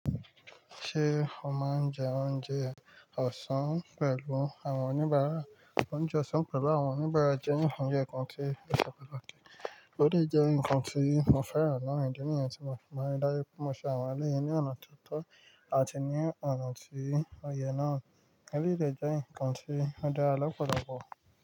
Ṣé o máa ń jẹ oúnjẹ ọ̀sán pẹ̀lú àwọn oníbàárà? Oúnjẹ ọ̀sán pẹ̀lú àwọn oníbàárà jẹ́ nǹkan tí o se patakí. Ó de jẹ́ nǹkan tí mo fẹ́ràn naa idi nìyẹn tí mo máa ń ri dájú pé mo ṣe àwọn eleyii ní ọ̀nà tó tọ́ àti ní ọ̀nà tí ó yẹ náà. Eleyii dè jẹ́ nǹkan tí ó dára lọ́pọ̀lọpọ̀